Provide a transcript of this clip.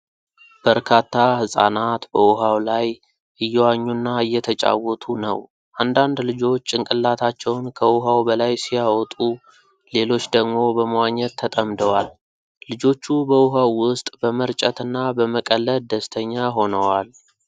በርካታ ህፃናት በውሃው ላይ እየዋኙና እየተጫወቱ ነው። አንዳንድ ልጆች ጭንቅላታቸውን ከውሃው በላይ ሲያወጡ፣ ሌሎች ደግሞ በመዋኘት ተጠምደዋል። ልጆቹ በውሃው ውስጥ በመርጨትና በመቀለድ ደስተኛ ሆነዎል።